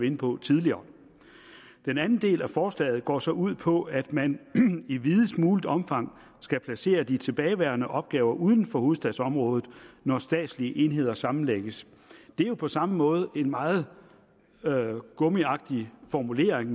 inde på tidligere den anden del af forslaget går så ud på at man i videst muligt omfang skal placere de tilbageværende opgaver uden for hovedstadsområdet når statslige enheder sammenlægges det er jo på samme måde en meget gummiagtig formulering